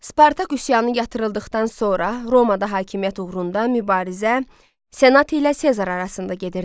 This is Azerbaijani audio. Spartak üsyanı yatırıldıqdan sonra Romada hakimiyyət uğrunda mübarizə Senat ilə Sezar arasında gedirdi.